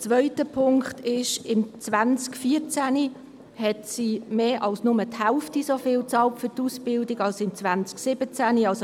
Der zweite Punkt ist, dass im Jahr 2014 mehr als die Hälfte so viel an die Ausbildung bezahlt wurde wie im Jahr 2017.